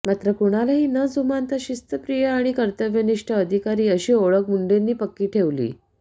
मात्र कुणालाही न जुमानता शिस्तप्रिय आणि कर्तव्यनिष्ठ अधिकारी अशी ओळख मुंढेनी पक्की ठेवली